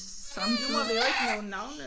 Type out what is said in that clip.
Jamen nu må vi jo ikke nævne navne